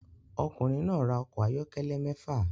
Ọkùnrin náà ra ọkọ̀ ayọ́kẹ́lẹ́ mẹ́fà